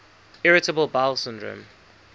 irritable bowel syndrome